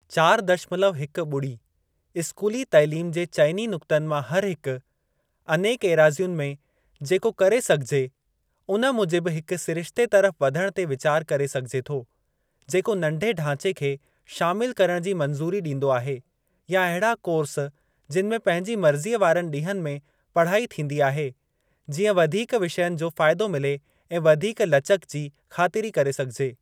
चार दशमलव हिक ॿुड़ी स्कूली तइलीम जे चइनी नुक्तनि मां हरहिक, अनेक एराज़ियुनि में जेको करे सघिजे, उन मूजिबि हिक सिरिश्ते तरफ़ वधण ते वीचार करे सघिजे थो, जेको नंढे ढांचे खे शामिल करण जी मंजू़री ॾींदो आहे या अहिड़ा कोर्स, जिनि में पंहिंजी मर्ज़ीअ वारनि ॾींहनि में पढ़ाई थींदी आहे, जीअं वधीक विषयनि जो फ़ाइदो मिले ऐं वधीक लचक जी ख़ातिरी करे सघिजे।